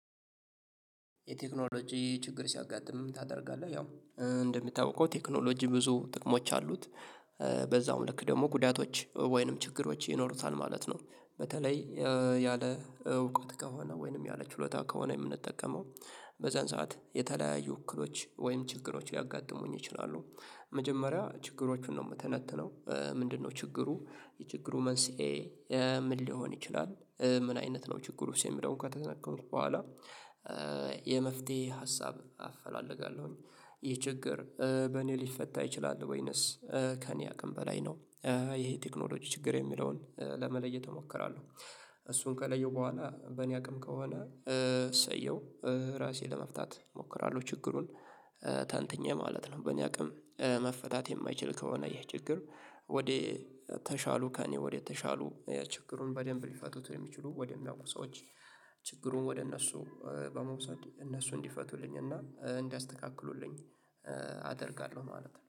የቴክኖሎጂ ችግር ሲያጋጥም ምን ታደርጋለህ? ያው እንደሚታወቀው ቴክኖሎጂ ብዙ ጥቅሞች አሉት በዛውም ልክ ደግሞ ጉዳቶች ወይንም ችግሮች ይኖሩታል ማለት ነው። በተለይ ያለ እውቀት ከሆነ ወይንም ያለ ችሎታ ከሆነ የምንጠቀመው በዛን ሰዓት የተለያዩ እክሎች ወይም ችግሮች ሊያጋጥሙኝ ይችላሉ። መጀመሪያ ችግሮቹን ነው የምተነትነው። ምንድነው ችግሩ? የችግሩ መንስኤ? ምን ሊሆን ይችላል? ምን አይነት ነው ችግሩ የሚለውን ከተነካው በኋላ የመፍትሄ ሀሳብ አፈላለጋለሁኝ። ይህ ችግር በእኔ ሊፈታ ይችላል ወይነስ? ከእኔ አቅም በላይ ነው። ይሄ ቴክኖሎጂ ችግር የሚለውን ለመለየት እሞክራለሁ። እሱን ከለየው በኋላ በእኔ አቅም ከሆነ እሰየው ራሴ ለመፍታት እሞክራለሁ ችግሩን ተንትኘ ማለት ነው። በእኔ አቅም መፈታት የማይችል ከሆነ ይሄ ችግር ወዴ ተሻሉ ከእኔ ወደተሻሉ ችግሩን በደንብ ሊፈቱት የሚችሉ ወደሚያውቁ ሰዎች ችግሩን ወደ እነሱ በመውሰድ እነሱ እንዲፈቱልኝ እና እንዲያስተካክሉልኝ አደርጋለሁ ማለት ነው